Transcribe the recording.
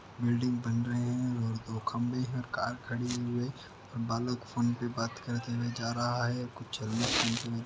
building बन रही है और दो खम्भे है कार खड़ी हुए बालक फोन पे बात करते हुए जा रहा है --